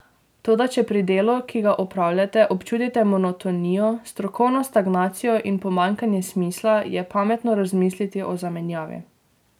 Toda če pri delu, ki ga opravljate, občutite monotonijo, strokovno stagnacijo in pomanjkanje smisla, je pametno razmisliti o zamenjavi.